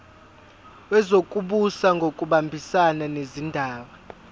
wezokubusa ngokubambisana nezindaba